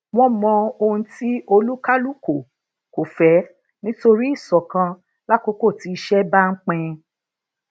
wón mo ohun ti olukaluko ko fe nitori íṣòkan lakókò ti ise ba n pin